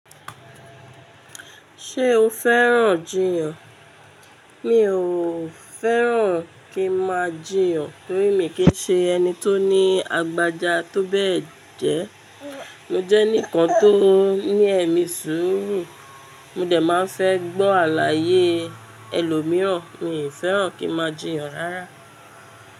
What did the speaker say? Ṣé o fẹ́ràn jiyàn? Mi ò fẹ́ràn kí n máa jiyàn, torí mi kì í ṣe ẹni tó ní agbaja tó bẹ́ẹ̀ jẹ. Mo jẹ́ ẹnìkan tó ní ẹ̀mí sùúrù, mo de máa fẹ́ gbọ́ àlàyé ẹlòmíràn. Mi i fẹ́ràn kí n máa jiyàn rárá.